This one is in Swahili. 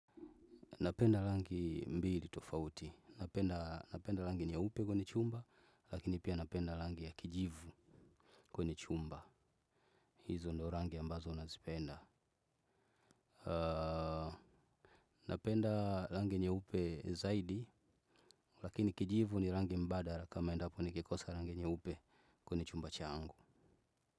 Napenda rangi mbili tofauti, napenda rangi nyeupe kwenye chumba, lakini pia napenda rangi ya kijivu kwenye chumba. Hizo ndio rangi ambazo nazipenda. Napenda rangi nyeupe zaidi, lakini kijivu ni rangi mbadala kama endapo nikikosa rangi nyeupe kwenye chumba changu.